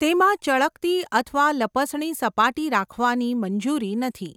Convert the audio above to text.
તેમાં ચળકતી અથવા લપસણી સપાટી રાખવાની મંજૂરી નથી.